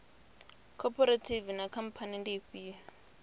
khophorethivi na khamphani ndi ifhio